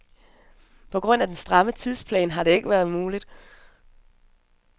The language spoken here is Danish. På grund af den stramme tidsplan har det ikke været muligt.